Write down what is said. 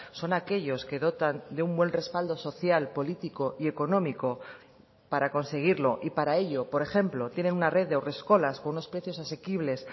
son aquellos que dotan de un buen respaldo social político y económico para conseguirlo y para ello por ejemplo tiene una red de haurreskolas con unos precios asequibles